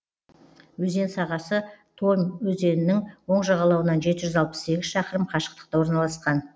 өзен сағасы томь өзенінің оң жағалауынан жеті жүз алпыс сегіз шақырым қашықтықта орналасқан